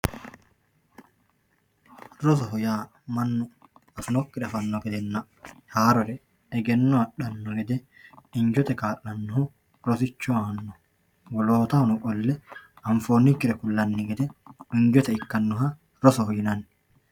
Rosoho yaa mannu rosinokkire afanno gedenna haarore egenno adhano gede injote kaa'lonoho rosicho aano woloottahono qolle anfoonnikkire ku'lanni gede injote ikkannoha rosoho yinnanni.